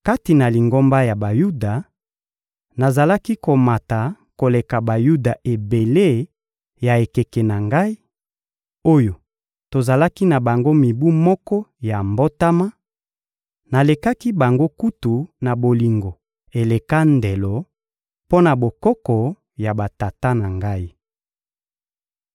Kati na lingomba ya Bayuda, nazalaki komata koleka Bayuda ebele ya ekeke na ngai, oyo tozalaki na bango mibu moko ya mbotama; nalekaki bango kutu na bolingo eleka ndelo mpo na bokoko ya batata na ngai.